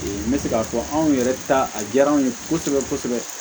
N bɛ se k'a fɔ anw yɛrɛ ta a diyara anw ye kosɛbɛ kosɛbɛ